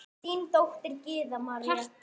Þín dóttir, Gyða María.